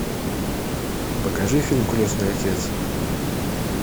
покажи фильм крестный отец